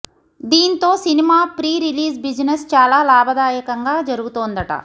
దీంతో cinema pre release business చాలా లాభదాయకంగా జరుగుతోందట